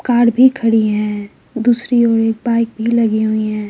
Car भी खड़ी है दूसरी ओर एक बाइक भी लगी हुई है।